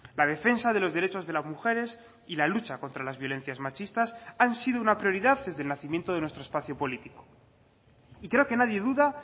la defensa de los derechos de las mujeres y la lucha contra las violencias machistas han sido una prioridad desde el nacimiento de nuestro espacio político y creo que nadie duda